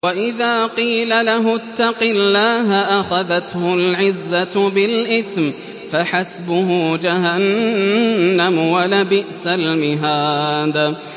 وَإِذَا قِيلَ لَهُ اتَّقِ اللَّهَ أَخَذَتْهُ الْعِزَّةُ بِالْإِثْمِ ۚ فَحَسْبُهُ جَهَنَّمُ ۚ وَلَبِئْسَ الْمِهَادُ